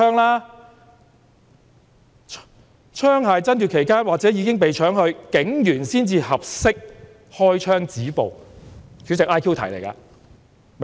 "再者："槍械爭奪期間或者已經被搶去，警員才合適開槍止暴。